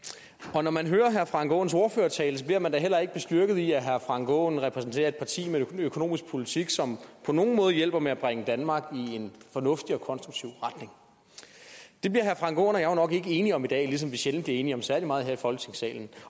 og når man hører herre frank aaens ordførertale bliver man da heller ikke bestyrket i at herre frank aaen repræsenterer et parti med en økonomisk politik som på nogen måde hjælper med at bringe danmark i en fornuftig og konstruktiv retning det bliver herre frank aaen og jeg jo nok ikke enige om i dag ligesom vi sjældent bliver enige om særlig meget her i folketingssalen